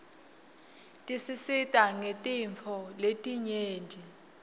tisisita ngetintfo letinyeti